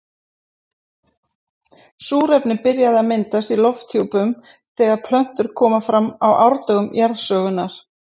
Súrefni byrjaði að myndast í lofthjúpnum þegar plöntur komu fram á árdögum jarðsögunnar.